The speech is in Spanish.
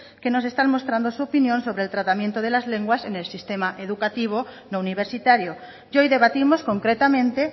que nos están mostrando su opinión sobre el tratamiento de las lenguas en el sistema educativo no universitario y hoy debatimos concretamente